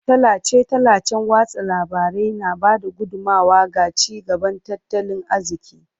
Tallace-tallacen watsa labarai na ba da gudummawa ga ci gaban tattalin arziki.